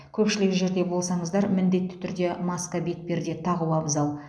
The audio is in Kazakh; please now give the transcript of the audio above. көпшілік жерде болсаңыздар міндетті түрде маска бетперде тағу абзал